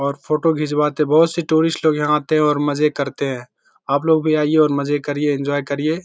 और फोटो घिंचवाते है बहुत से टूरिस्ट लोग यहाँ आते है और मजे करते है आपलोग भी आइए और मज़े करिए एन्जॉय करिए।